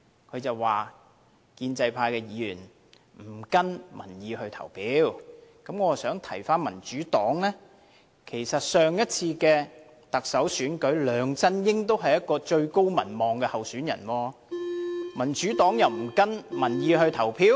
他說建制派議員不跟從民意投票，我想提醒民主黨，上次的特首選舉，梁振英是最高民望的候選人，民主黨也沒有跟從民意投票。